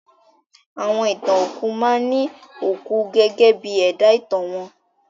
Àwọn ìtàn òkú máa ní òkú gẹ́gẹ́ bí ẹ̀dá ìtàn wọn.